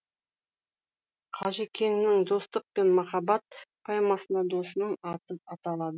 қажекеңнің достық пен махаббат поэмасында досының аты аталады